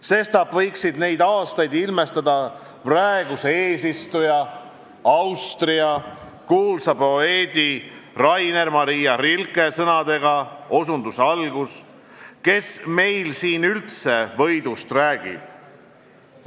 Sestap võikski neid aastaid ilmestada praeguse eesistuja Austria kuulsa poeedi Rainer Maria Rilke sõnadega: "Kes meil siin üldse võidust räägib?